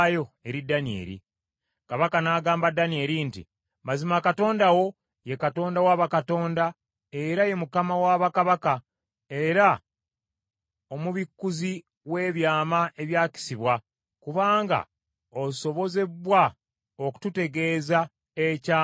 Kabaka n’agamba Danyeri nti, “Mazima Katonda wo ye Katonda wa bakatonda era ye Mukama wa bakabaka, era omubikkuzi w’ebyama ebyakisibwa, kubanga osobozebbwa okututegeeza ekyama ekyakisibwa.”